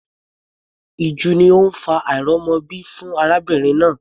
Ìju ni ó ń fa àìrọ́mọbí fún arábìnrin náà.